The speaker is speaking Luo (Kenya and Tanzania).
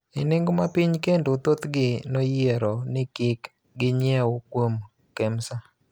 e nengo ma piny kendo thothgi noyiero ni kik ginyiew kuom Kemsa